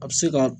A bɛ se ka